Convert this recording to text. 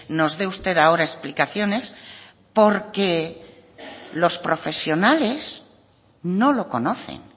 nos dé usted ahora explicaciones porque los profesionales no lo conocen